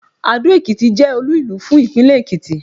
Adó-Ekìtì jẹ́ olú ìlú fún ìpínlẹ̀ Èkìtì